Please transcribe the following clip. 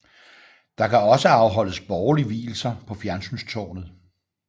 Der kan også afholdes borgerlig vielse på fjernsynstårnet